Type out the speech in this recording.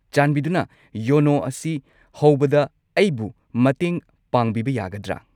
ꯆꯥꯟꯕꯤꯗꯨꯅ ꯌꯣꯅꯣ ꯑꯁꯤ ꯍꯧꯕꯗ ꯑꯩꯕꯨ ꯃꯇꯦꯡ ꯄꯥꯡꯕꯤꯕ ꯌꯥꯒꯗ꯭ꯔꯥ?